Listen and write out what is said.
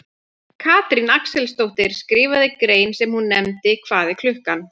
Stjórnendur fjármálafyrirtækja hafa líklega persónulegan hag af að sem fæstar reglur takmarki umsvif fyrirtækjanna.